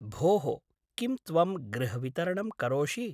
भोः, किं त्वं गृहवितरणं करोषि?